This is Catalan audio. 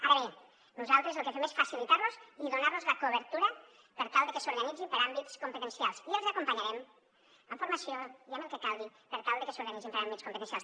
ara bé nosaltres el que fem és facilitar los i donar los la cobertura per tal que s’organitzin per àmbits competencials i els acompanyarem amb formació i amb el que calgui per tal que s’organitzin per àmbits competencials